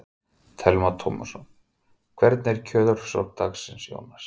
Telma Tómasson: Hvernig er kjörsókn dagsins, Jónas?